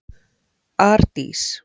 Ardís